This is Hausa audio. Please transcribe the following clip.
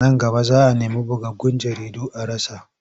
Nan gaba za a nemi bugaggun jaridu a rasa.